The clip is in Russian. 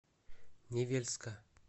невельска